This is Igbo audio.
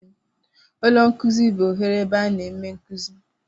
Ụlọ nkuzi bụ oghere ebe a na-eme nkuzi.